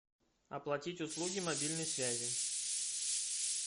оплатить услуги мобильной связи